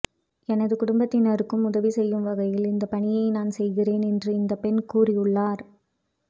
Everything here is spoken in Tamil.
எனது குடும்பத்தினருக்கும் உதவி செய்யும் வகையில் இந்த பணியை நான் செய்கிறேன் என்று இந்த பெண் கூறியுள்ளார்